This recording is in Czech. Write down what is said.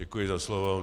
Děkuji za slovo.